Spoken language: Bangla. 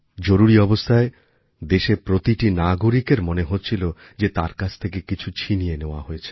জরুরি অবস্থায় দেশের প্রতিটি নাগরিকের মনে হচ্ছিল যে তার থেকে কিছু ছিনিয়ে নেয়া হয়েছে